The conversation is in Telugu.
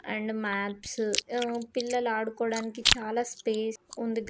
And maps . ఊ పిల్లలు ఆడుకోడానికి చాలా స్పేస్ ఉం--